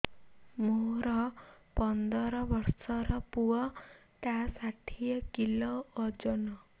ମୋର ପନ୍ଦର ଵର୍ଷର ପୁଅ ଟା ଷାଠିଏ କିଲୋ ଅଜନ